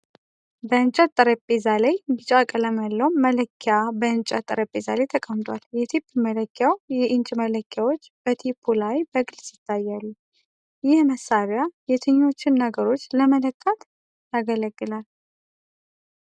[NO CONTENT FOUND]በእንጨት ጠረጴዛ ላይ chrome እና ቢጫ ቀለም ያለው መለኪያ በእንጨት ጠረጴዛ ላይ ተቀምጧል። የቴፕ መለኪያው የኢንች መለኪያዎች በቴፑ ላይ በግልጽ ይታያሉ። ይህ መሳሪያ የትኞቹን ነገሮች ለመለካት ያገለግላል?